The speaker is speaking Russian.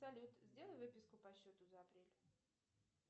салют сделай выписку по счету за апрель